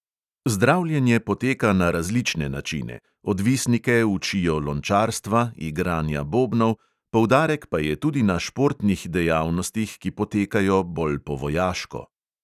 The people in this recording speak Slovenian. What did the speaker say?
Zdravljenje poteka na različne načine: odvisnike učijo lončarstva, igranja bobnov, poudarek pa je tudi na športnih dejavnostih, ki potekajo bolj po vojaško.